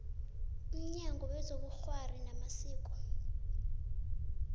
mnyango wezobukghwari namasiko